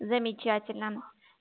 замечательно